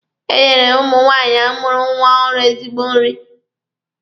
E nyere ụmụ nwaanyị mụrụ nwa ọhụrụ ezigbo nri.